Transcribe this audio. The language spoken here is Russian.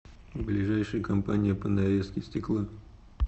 ближайший компания по нарезке стекла